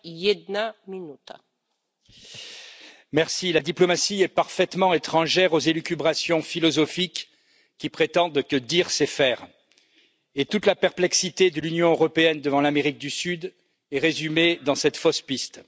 Madame la Présidente, la diplomatie est parfaitement étrangère aux élucubrations philosophiques qui prétendent que dire, c'est faire. Et toute la perplexité de l'Union européenne devant l'Amérique du Sud est résumée dans cette fausse piste.